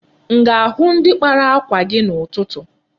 M ga-ahụ ndi kpara akwa gị a n'ụtụtụ?